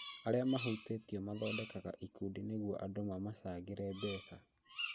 Arĩa mahutĩtio mathondekaga ikundi nĩguo andũ mamachangĩre mbeca